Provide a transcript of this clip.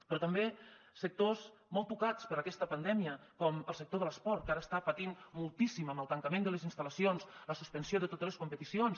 però també sectors molt tocats per aquesta pandèmia com el sector de l’esport que ara està patint moltíssim amb el tancament de les instal·lacions la suspensió de totes les competicions